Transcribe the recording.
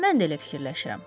Mən də elə fikirləşirəm.